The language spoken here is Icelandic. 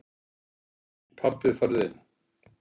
Pabbi farðu inn!